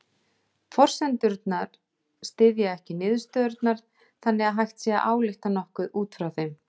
Forsendurnar styðja ekki niðurstöðurnar þannig að hægt sé að álykta nokkuð út frá þeim.